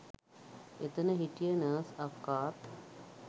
එතන හිටිය නර්ස් අක්කාත්